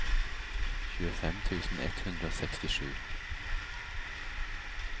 tjuefem tusen ett hundre og sekstisju